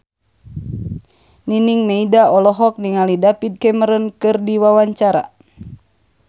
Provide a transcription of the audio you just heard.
Nining Meida olohok ningali David Cameron keur diwawancara